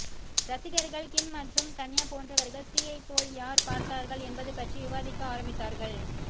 ரசிகர்கள் கிம் மற்றும் கன்யா போன்றவர்கள் சீயைப் போல் யார் பார்த்தார்கள் என்பது பற்றி விவாதிக்க ஆரம்பித்தார்கள்